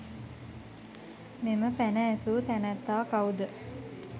මෙම පැන ඇසූ තැනැත්තා කවුද?